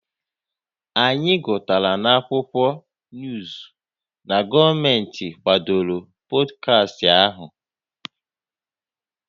Anyị gụtara n'akwụkwọ nuuzu na gọọmenti kwadoro pọdkastị ahụ